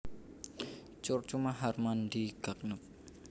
Curcuma harmandii Gagnep